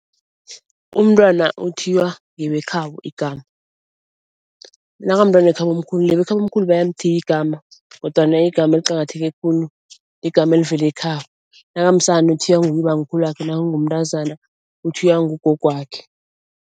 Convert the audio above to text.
Umntwana uthiywa ngebekhabo igama nakamntwana wekhabomkhulu nebekhabomkhulu bayamthiya igama, kodwana igama eliqakatheke khulu igama elivela ekhabo. Nakamsana uthiywa nguye ubamkhulwakhe naka ngumntazana uthiywa ngugogwakhe.